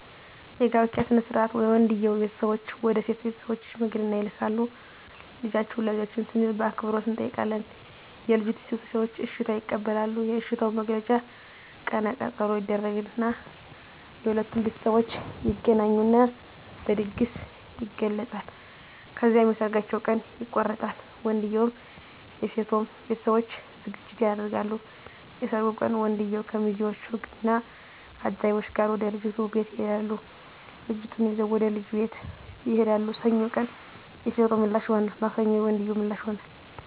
የጋብቻ ሥነ ሥርዓት የወንድየዉ ቤተሰቦች ወደ ሴት ቤተሰቦች ሽምግልና ይልካሉ ልጃችሁን ለልጃችን ስንል በአክብሮት እንጠይቃለን የልጂቱ ቤተሰቦች እሽታ ይቀበላሉ የእሽታዉ መግለጫ ቀነ ቀጠሮ ይደረግ እና የሁለቱም ቤተሠቦች ይገናኙና በድግስ ይገለፃል። ከዚያም የሠርጋቸዉ ቀን ይቆረጣል የወንድየዉም የሴቶም ቤተሠቦች ዝግጅት ያደርጋሉ። የሠርጉ ቀን ወንድየዉ ከሚዚወች እና ከአጃቢወቹ ጋር ወደ ልጅቷ ቤት ይሄዳሉ ልጅቷን ይዘዉ ወደ ልጁ ቤት ይሄዳሉ። ሰኞ ቀን የሴቶ ምላሽ ይሆናል ማክሰኞ የወንድየዉ ምላሽ ይሆናል።